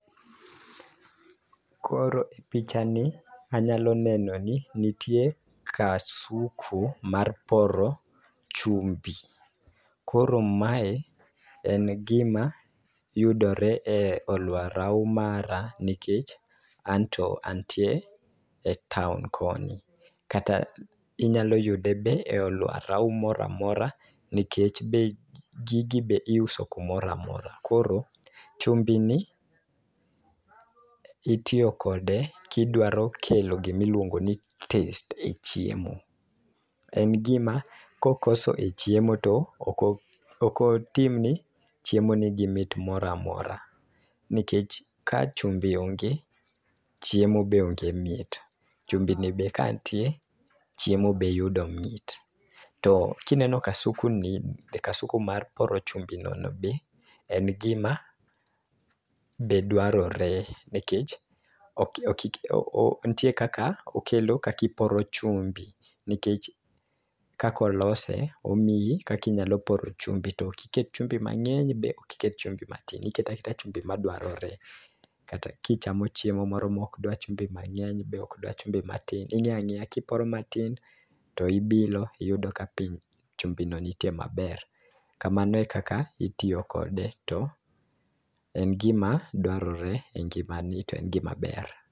Koro e picha ni anyalo neno ni nitie kasuku mar poro chumbi. Koro mae en gima yudore e aluora mara nikech anto antie e taon koni kata inyalo yude be aluora moramora nikech be gigi be iuso kumoramora. Koro chumbi ni itiyo kode kidwaro kelo gimiluongo ni taste e chiemo .En gima kokoso e chiemo toko okotim ne chiemo nigi mit moramora nikech ka chumbi onge chiemo be onge mit chumbi ni ka ntie chiemo be yudo mit. To kineno kasuku ni kasuku mar poro chumbi no ber en gima be dwarore nikech ok ok ntie kaka okelo kakiporo chumbi nikech kako lose omiyi kaki nyalo poro chumbi tokiket chumbi mang'eny to be okiket chumbi matin iketa chumbi madwarore kata kichamo chiemo moro mokdwar chumbi mangeny bok dwar chumbi matin . Ing'eya ng'eya kiporo matin to ibilo iyudo ka piny chumbi no ntie maber. Kamano e kaka itiyo kode to en gima dwarore e ngima ni en gima ber.